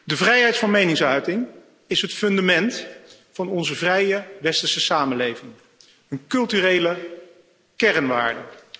De vrijheid van meningsuiting is het fundament van onze vrije westerse samenleving, een culturele kernwaarde.